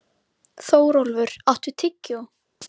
Þórólfur, áttu tyggjó?